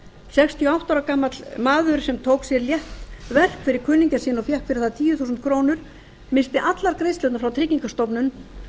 sextíu og átta ára gamall maður sem tók að sér létt verk fyrir kunningja sinn og fékk fyrir það tíu þúsund krónur missti allar greiðslurnar frá tryggingastofnun